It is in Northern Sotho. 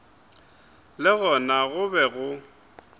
le gona go be go